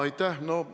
Aitäh!